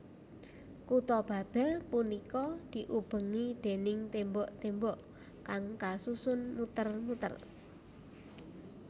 Kutha Babel punika diubengi déning tembok tembok kang kasusun muter muter